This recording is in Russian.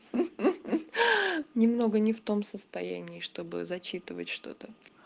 ха-ха-ха немного не в том состоянии чтобы зачитывать что-то